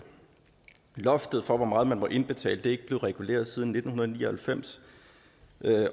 loftet for hvor meget man må indbetale er ikke blevet reguleret siden nitten ni og halvfems